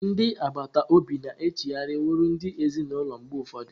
Ndị agbata obi na-echigharị wụrụ ndị enyi ezinụlọ mgbe ụfọdụ.